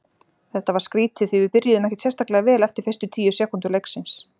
Þetta var skrítið því við byrjuðum ekkert sérstaklega vel eftir fyrstu tíu sekúndur leiksins.